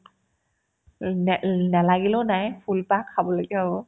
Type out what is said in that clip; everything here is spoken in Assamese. অ' নে ~ নেলাগিলেও নাই ফুলপাহ খাবলৈকে হ'ব